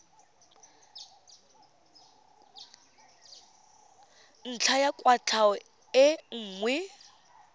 ntlha ya kwatlhao e nngwe